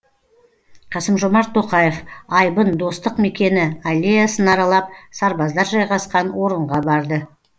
қасым жомарт тоқаев айбын достық мекені аллеясын аралап сарбаздар жайғасқан орынға барды